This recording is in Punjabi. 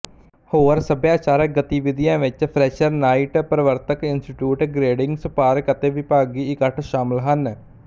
ਹੋਰ ਸਭਿਆਚਾਰਕ ਗਤੀਵਿਧੀਆਂ ਵਿੱਚ ਫਰੈਸ਼ਰ ਨਾਈਟ ਪ੍ਰਵਰਤਕ ਇੰਸਟੀਚਿਊਟ ਗਰੇਡਿੰਗ ਸਪਾਰਕ ਅਤੇ ਵਿਭਾਗੀ ਇਕੱਠ ਸ਼ਾਮਲ ਹਨ